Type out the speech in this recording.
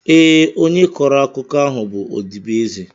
Ee, onye kọrọ akụkọ ahụ bụ ọdịbeeze